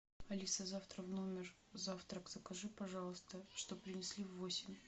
алиса завтра в номер завтрак закажи пожалуйста чтоб принесли в восемь